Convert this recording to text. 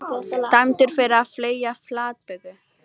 Dæmdur fyrir að fleygja flatböku